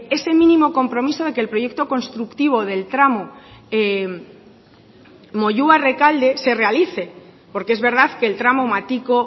ese mínimo compromiso de que el proyecto constructivo del tramo moyua rekalde se realice porque es verdad que el tramo matiko